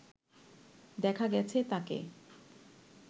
দেখা গেছে তাকে